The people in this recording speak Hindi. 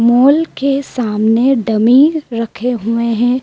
मॉल के सामने डमी रखे हुए हैं।